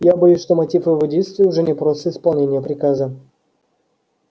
я боюсь что мотив его действий уже не просто исполнение приказа